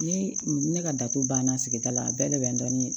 Ne ne ka datugu banna sigida la a bɛɛ de bɛ n dɔn ni